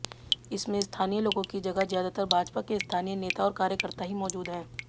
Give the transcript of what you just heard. इसमें स्थानीय लोगों की जगह ज्यादातर भाजपा के स्थानीय नेता और कार्यकर्ता ही मौजूद हैं